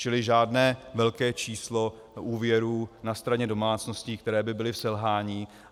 Čili žádné velké číslo úvěrů na straně domácností, které by byly v selhání.